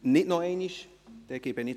– Er wünscht das Wort nicht nochmals.